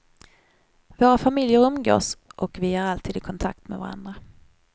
Våra familjer umgås, och vi är alltid i kontakt med varandra.